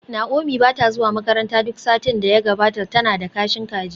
Naomi ba ta zuwa makaranta duk satin da ya gabata, tana da kashin kaji